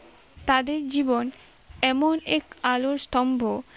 তাদের জীবন এমন এক আলোর স্তম্ভ